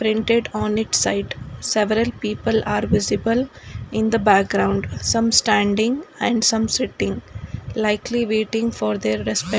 rented on its site several people are visible in the background some standing and some sitting likely waiting for their respect --